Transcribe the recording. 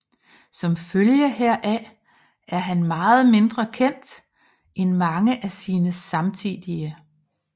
Som følge heraf er han meget mindre kendt end mange af sine samtidige